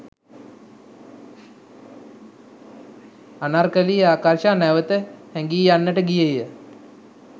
අනර්කලී ආකර්ෂ නැවත හැගී යන්නට ගියේය